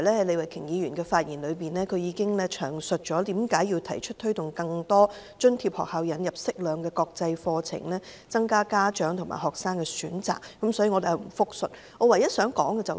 李慧琼議員剛才已詳述，為何提出推動更多津貼學校引入適量國際課程，以增加家長和學生的選擇，所以我不複述她的意見。